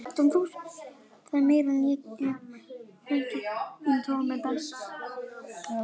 Þín Dóra.